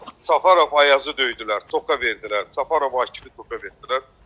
Səfərov Ayazı döydülər, tokka verdilər, Səfərov Akifi tokka verdilər.